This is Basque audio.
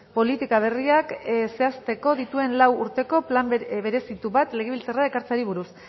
politika berriak zehaztuko dituen lau urterako plan berezitu bat legebiltzarrera ekartzeari buruz